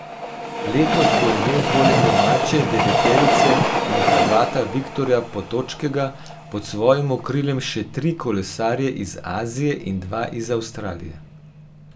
Letos bo imel poleg domače deveterice in Hrvata Viktorja Potočkega pod svojim okriljem še tri kolesarje iz Azije in dva iz Avstralije.